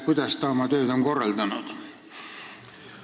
Kuidas ta on oma tööd korraldanud?